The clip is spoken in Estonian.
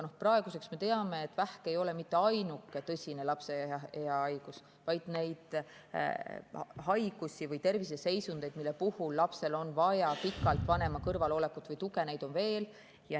Praeguseks me teame, et vähk ei ole mitte ainuke tõsine lapseea haigus, vaid neid haigusi või terviseseisundeid, mille puhul lapsel on vaja pikalt vanema kõrvalolekut või tuge, on veel.